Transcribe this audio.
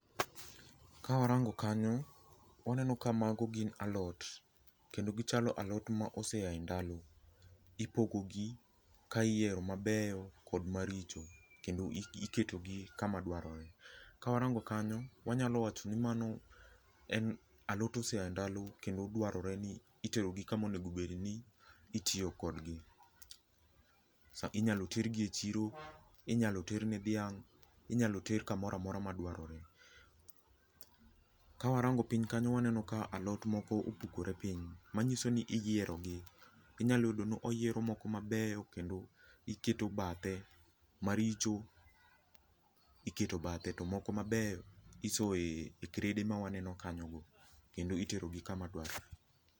Kawarango kanyo, waneno ka mago gin alot, kendo gichalo alot ma osea i ndalo. Ipogogi ka iyiero mabeyo kod maricho. Kendo iketogi kama dwarore. Kawarango kanyo, wanyalo wacho ni mano en alot ma osea e ndalo kendo dwarore ni iterogi kama itiye kodgi. Inyalo tergi e chiro, inyalo terne dhiang',inyalo ter kamora mora madwarore. Ka warango piny kanyo waneno ka alot moko opukore piny, manyiso ni iyierogi. Inyalo yudoni oyiero moko mabeyo kendo iketo bathe. Maricho iketo bathe, to moko mabeyo isoye krede ma waneno kanyogo. Kendo iterogi kama dwarore.